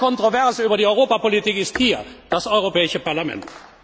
teilt. Der Ort der Kontroverse über die Europapolitik ist hier das Europäische